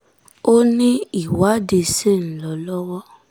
ó ní ìwádìí ṣì ń lọ lọ́wọ́